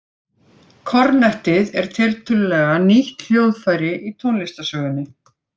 Kornettið er tiltölulega nýtt hljóðfæri í tónlistarsögunni.